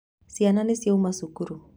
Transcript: Ciana nĩ ciauma cukuru.